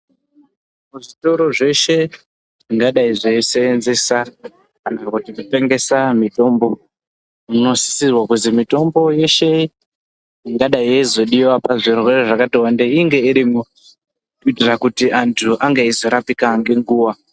Muzvitoro zveshe zvingadai zveisenzesa kana kuti kutengesa mitombo zvinosisirwa kuzi mitombo yeshe ingadai yeizodiwa pazvirwere zvakati wandei inga irimwo kuitira kuti anhu ange eizorapiwa ngenguwa.